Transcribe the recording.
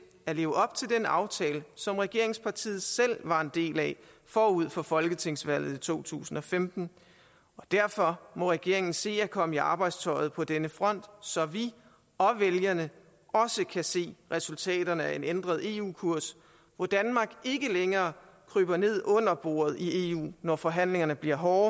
at leve op til den aftale som regeringspartiet selv var en del af forud for folketingsvalget i to tusind og femten og derfor må regeringen se at komme i arbejdstøjet på denne front så vi og vælgerne også kan se resultaterne af en ændret eu kurs hvor danmark ikke længere kryber ned under bordet i eu når forhandlingerne bliver hårde